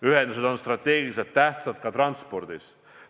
Ühendused on strateegiliselt tähtsad ka transpordis.